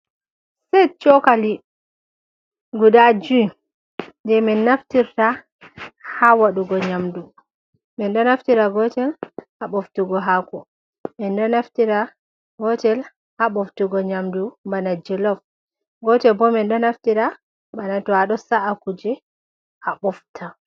Set chokali guda jui. Je min naftirta ha waɗugo nyamdu. Min ɗo naftira gotel ha ɓoftugo hako min ɗo naftira gotel, ha ɓoftugo nyamdu bana jolof, gotel bo min ɗo naftira bana to a ɗo sa’a kuje, a ɓofta.